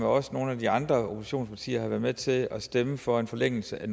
og nogle af de andre oppositionspartier har været med til at stemme for en forlængelse af